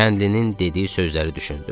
Kəndlinin dediyi sözləri düşündüm.